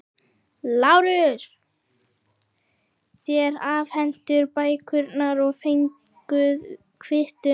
LÁRUS: Þér afhentuð bækurnar og fenguð kvittun.